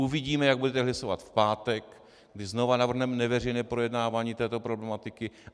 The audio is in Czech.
Uvidíme, jak budete hlasovat v pátek, kdy znovu navrhneme neveřejné projednávání této problematiky.